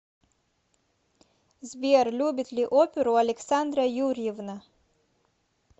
сбер любит ли оперу александра юрьевна